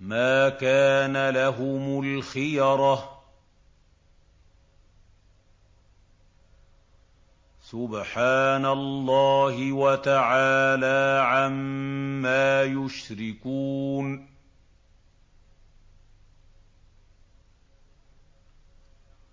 مَا كَانَ لَهُمُ الْخِيَرَةُ ۚ سُبْحَانَ اللَّهِ وَتَعَالَىٰ عَمَّا يُشْرِكُونَ